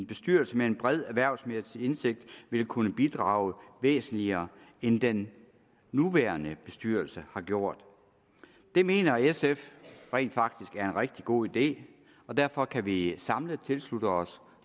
bestyrelse med en bred erhvervsmæssig indsigt vil kunne bidrage væsentligere end den nuværende bestyrelse har gjort det mener sf rent faktisk er en rigtig god idé og derfor kan vi samlet tilslutte os